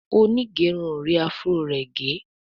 Onigerun or rí afro rẹ gé.